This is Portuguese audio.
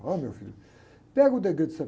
Olha, meu filho, pega o